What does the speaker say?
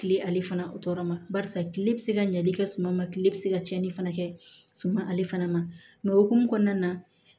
Kile ale fana o tɔɔrɔ ma barisa kile bi se ka ɲali kɛ suman ma kile bɛ se ka tiɲɛni fana kɛ suma ale fana ma o hokumu kɔnɔna na